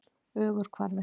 Ögurhvarfi